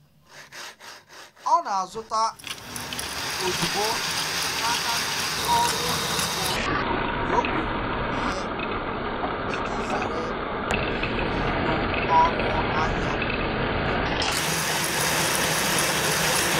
Ọ na-azụta nri ozugbo n’aka ndị ọrụ ugbo mgbe o kwere mee iji zere ịrị elu ọnụ ahịa nke ndị oji.